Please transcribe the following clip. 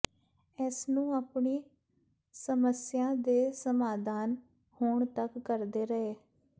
ਇਸਨੂੰ ਆਪਣੀ ਸਮਸੀਆਂ ਦੇ ਸਮਾਧਾਨ ਹੋਣ ਤੱਕ ਕਰਦੇ ਰਹੇ